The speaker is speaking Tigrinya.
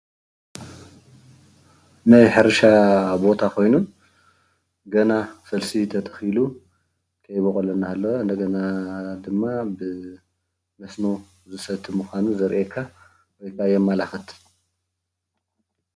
ናይ ሕርሻ ቦታ ኾይኑ ገና ፈልሲ ተተኺሉ ከይቦቐለ እናሃለወ እንደገና ድማ ብመስኖ ዝሰቲ ምዃኑ ዘርእየካ እባ የመላኽት